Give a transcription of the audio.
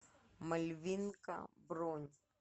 мальвинка бронь